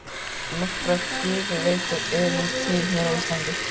Nokkrar gufuveitur eru til hér á landi.